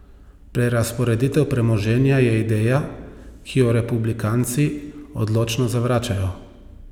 Prerazporeditev premoženja je ideja, ki jo republikanci odločno zavračajo.